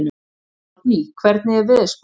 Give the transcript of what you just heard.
Árný, hvernig er veðurspáin?